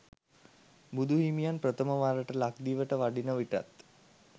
බුදු හිමියන් ප්‍රථම වරට ලක්දිවට වඩින විටත්